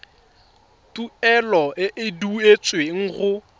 tuelo e e duetsweng go